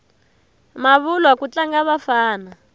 mavulwa ku tlanga vafana